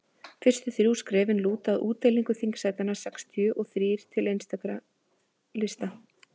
fyrstu þrjú skrefin lúta að útdeilingu þingsætanna sextíu og þrír til einstakra lista